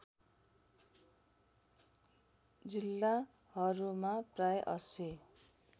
जिल्लाहरूमा प्राय ८०